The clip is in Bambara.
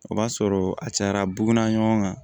O b'a sɔrɔ a cayara buguda ɲɔgɔn kan